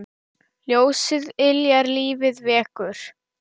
Ljósið yljar lífið vekur.